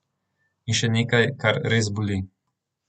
In še nekaj, kar res boli.